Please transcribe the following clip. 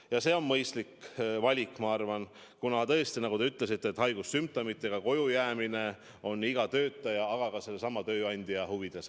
Ja see on mõistlik valik, kuna tõesti, nagu te ütlesite, haigussümptomitega koju jäämine on iga töötaja, aga ka tööandja huvides.